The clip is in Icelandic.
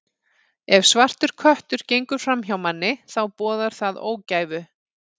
Ef svartur köttur gengur fram hjá manni, þá boðar það ógæfu.